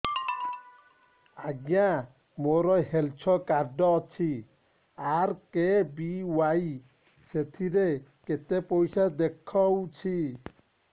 ଆଜ୍ଞା ମୋର health card ଅଛି ଆର୍.କେ.ବି.ୱାଇ ସେଥିରେ କେତେ ପଇସା ଦେଖଉଛି